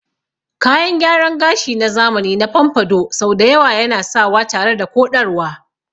Kayan gyaran gashi na zamani na pompadour sau da yawa ana sawa tare da koɗarwa.